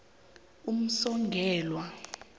umsongelwa